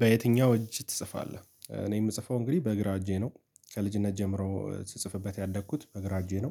በየትኛው እጅ ትጽፋለህ? እኔ የምጽፈው እንግዲህ በእግራ እጄ ነው ከልጅነት ጀምሮ ስጽፍበት ያደግኩት በግራ እጄ ነው።